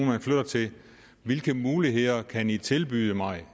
man flytter til hvilke muligheder kan i tilbyde mig